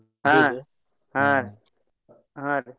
ಹ್ಮ್ ಹ್ಮ್ ಹಾ ರೀ.